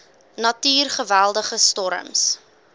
natuur geweldige storms